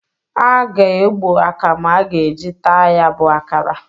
A ga-egbo akamu a ga-e ji taa ya bụ akara.